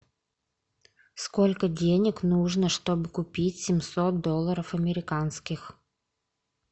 сколько денег нужно чтобы купить семьсот долларов американских